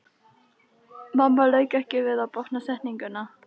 Mamma lauk ekki við að botna setninguna.